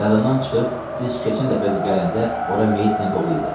Yadından çıxıb, biz keçən dəfə də gələndə ora meyitlə dolu idi.